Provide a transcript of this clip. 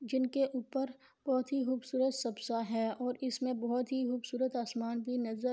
جنکے اوپر بہت ہی قوبسرت ہے اور اسمے بہت ہی قوبصورت آسمان بھی نظر